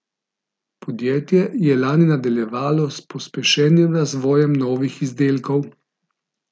Podjetje je lani nadaljevalo s pospešenim razvojem novih izdelkov.